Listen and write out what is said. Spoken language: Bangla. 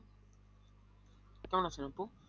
কেমন আছেন আপু?